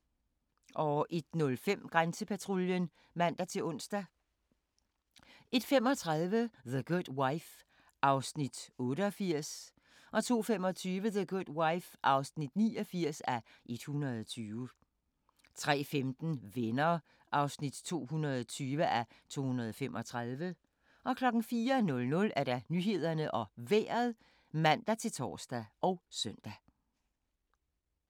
01:05: Grænsepatruljen (man-ons) 01:35: The Good Wife (88:120) 02:25: The Good Wife (89:120) 03:15: Venner (220:235) 04:00: Nyhederne og Vejret (man-tor og søn)